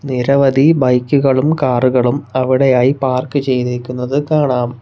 നിരവധി ബൈക്കുകളും കാറുകളും അവിടെയായി പാർക്ക് ചെയ്തിരിക്കുന്നത് കാണാം.